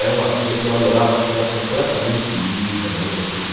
Era uma vida que eu adorava, porque você era completamente livre também nesse tipo de